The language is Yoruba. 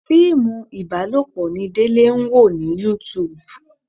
Fíìmù ibalopo ni Délé ń wò ní YouTube.